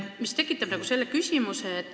Mul on niisugune küsimus.